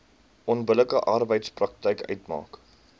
onbillike arbeidspraktyk uitmaak